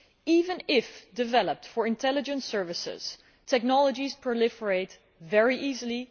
Even if developed for intelligence services, technologies proliferate very easily.